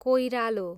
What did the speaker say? कोइरालो